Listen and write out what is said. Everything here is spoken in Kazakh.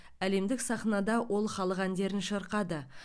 әлемдік сахнада ол халық әндерін шырқады